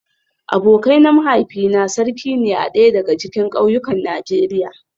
Abokai na mahaifina sarki ne a daya daga cikin kauyukan Najeriya